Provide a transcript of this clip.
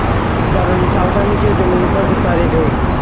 दादाजी सावधानी से ज़मीन पर उतारे गए